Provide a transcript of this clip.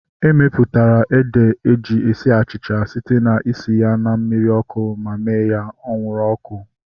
Emeputara ede eji esi achịcha site na isi ya na mmiri ọkụ ma mee ya anwụrụ ọkụ